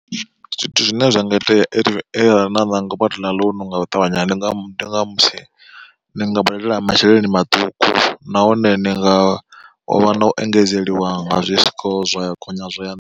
Zwithu zwine zwa nga itea arali na ṋanga u budela ḽounu nga u ṱavhanya ndi nga mu ndi nga musi ni nga badela masheleni maṱuku nahone ni nga vha na u engedzeliwa nga zwi score zwa gonya zwa ya nṱha.